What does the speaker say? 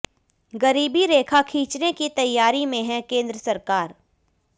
गरीबी रेखा खींचने की तैयारी में है केंद्र सरकार